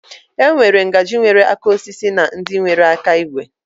E nwere ngaji nwere aka osisi na ndị nwere aka igwe.